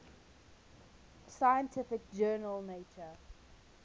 scientific journal nature